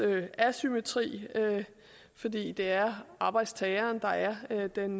asymmetri fordi det er arbejdstageren der her er den